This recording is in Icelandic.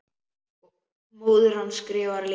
Móðir hans skrifar líka.